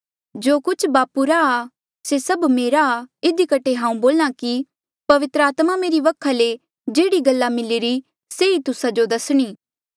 जो कुछ बापू रा आ से सब मेरा आ इधी कठे हांऊँ बोल्या कि पवित्र आत्मा मेरी वखा ले जेह्ड़ी गल्ला मिलिरी से ही तुस्सा जो दसणी